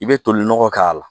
I bɛ tolinɔgɔ k'a la